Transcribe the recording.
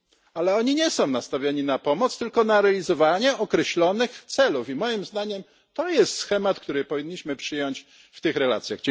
Ale te kraje nie są nastawione na pomoc, tylko na realizowanie określonych celów i, moim zdaniem, to jest schemat, który powinniśmy przyjąć w tych relacjach.